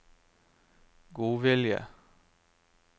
godvilje